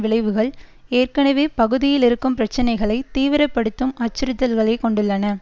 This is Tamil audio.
விளைவுகள் ஏற்கனவே பகுதியில் இருக்கும் பிரச்சினைகளை தீவிரப்படுத்தும் அச்சுறுத்தல்களை கொண்டுள்ளன